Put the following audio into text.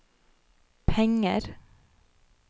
penger